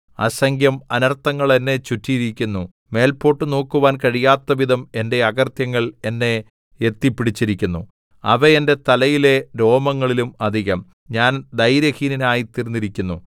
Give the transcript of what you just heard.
അസംഖ്യം അനർത്ഥങ്ങൾ എന്നെ ചുറ്റിയിരിക്കുന്നു മേല്പോട്ടു നോക്കുവാൻ കഴിയാത്തവിധം എന്റെ അകൃത്യങ്ങൾ എന്നെ എത്തിപ്പിടിച്ചിരിക്കുന്നു അവ എന്റെ തലയിലെ രോമങ്ങളിലും അധികം ഞാൻ ധൈര്യഹീനനായിത്തീർന്നിരിക്കുന്നു